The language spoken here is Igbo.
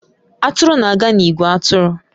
Atụrụ na-aga n'ìgwè atụrụ